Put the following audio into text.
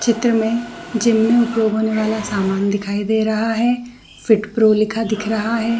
चित्र में जिम में उपयोग होने वाला समान दिखाई दे रहा है फ़ीट प्रो लिखा दिख रहा हैं।